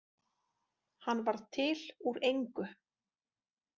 Hann varð til úr engu.